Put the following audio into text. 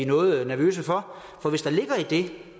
noget nervøse for